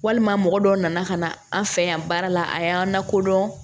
Walima mɔgɔ dɔw nana ka na an fɛ yan baara la a y'an lakodɔn